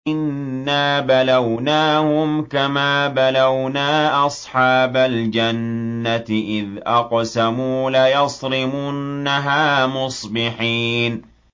إِنَّا بَلَوْنَاهُمْ كَمَا بَلَوْنَا أَصْحَابَ الْجَنَّةِ إِذْ أَقْسَمُوا لَيَصْرِمُنَّهَا مُصْبِحِينَ